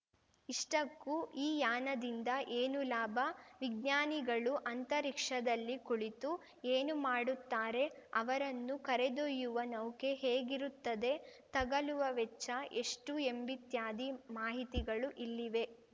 ಇಷ್ಟಕ್ಕೂ ಈ ಯಾನದಿಂದ ಏನು ಲಾಭ ವಿಜ್ಞಾನಿಗಳು ಅಂತರಿಕ್ಷದಲ್ಲಿ ಕುಳಿತು ಏನು ಮಾಡುತ್ತಾರೆ ಅವರನ್ನು ಕರೆದೊಯ್ಯುವ ನೌಕೆ ಹೇಗಿರುತ್ತದೆ ತಗಲುವ ವೆಚ್ಚ ಎಷ್ಟುಎಂಬಿತ್ಯಾದಿ ಮಾಹಿತಿಗಳು ಇಲ್ಲಿವೆ